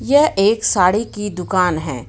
यह एक साड़ी की दुकान है.